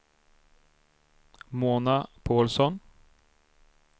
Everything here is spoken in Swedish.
Mona Paulsson